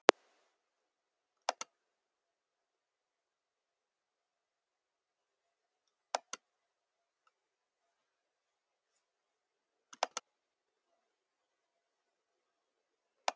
Við tekur annað ár á fjöllum.